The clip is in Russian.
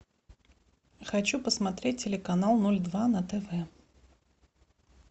хочу посмотреть телеканал ноль два на тв